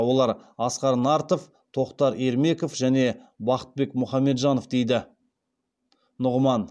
олар асқар нартов тоқтар ермеков және бақытбек мұхамеджанов дейді нұғыман